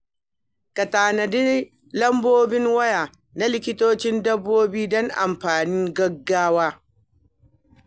Ka tanadi lambobin waya na likitan dabbobi don amfanin gaugawa.